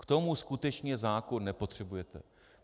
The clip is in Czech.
K tomu skutečně zákon nepotřebujete.